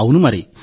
అవును మరి